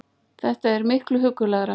Þetta er miklu huggulegra